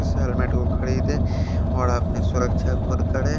इस हेलमेट को खरीदे और अपनी सुरक्षा खुद करे।